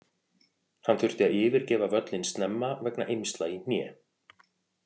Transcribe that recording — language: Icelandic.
Hann þurfti að yfirgefa völlinn snemma vegna eymsla í hné.